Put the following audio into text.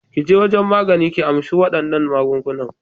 Ki je wajen magani, ki amshi waɗannan maganganun.